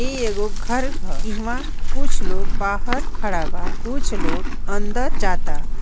इ एगो घर हअ इहा कुछ लोग बाहर खड़ा बा कुछ लोग अंदर जाअता।